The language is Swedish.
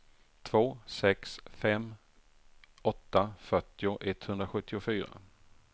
två sex fem åtta fyrtio etthundrasjuttiofyra